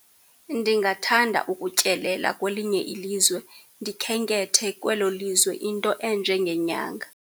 Ndingathanda ukutyelela kwelinye ilizwe, ndikhenkethe kwelo lizwe into enjengenyanga.